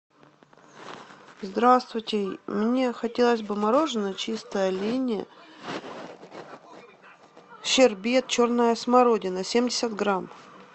здравствуйте мне хотелось бы мороженое чистая линия щербет черная смородина семьдесят грамм